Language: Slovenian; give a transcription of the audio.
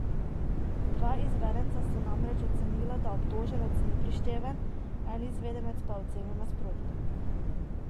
Dva izvedenca sta namreč ocenila, da obtoženec ni prišteven, en izvedenec pa je ocenil nasprotno.